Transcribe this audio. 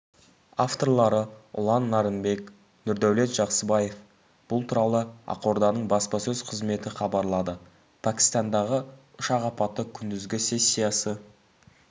авторлары ұлан нарынбек нұрдәулет жақсыбаев бұл туралы ақорданың баспасөз қызметі хабарлады пәкістандағы ұшақ апаты күндізгі сессиясы